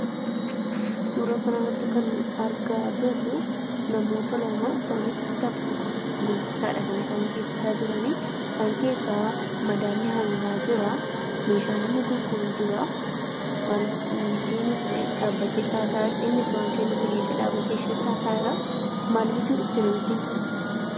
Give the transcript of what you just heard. Suuraa kana irratti kan nu argaa jirru, namoota lamaa. Isaanis bittaa fi gurgurtaa dha kan isaan geggeessaa jirani. Isaan keessa madaalli hangaa jiraa; meeshaan inni gurguru jiraa. Namittiinis dhaabattee itti haasa'aa jirti. Innis waa kennuufii dhiisee dhaabatee isheetti haasa'aa jiraa. Maal bituu dhufte namittiin kun?